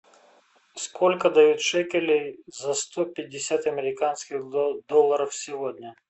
сколько дают шекелей за сто пятьдесят американских долларов сегодня